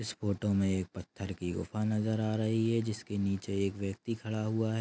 इस फोटो मे एक पत्थर की गुफा नजर आ रही है जिसके नीचे एक व्यक्ति खड़ा हुआ है।